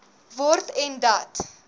word en dat